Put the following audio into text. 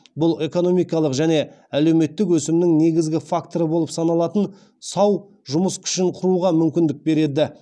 бұл экономикалық және әлеуметтік өсімнің негізгі факторы болып саналатын сау жұмыс күшін құруға мүмкіндік береді